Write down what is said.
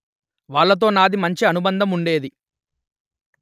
వాళ్లతో నాది మంచి అనుబంధం ఉండేది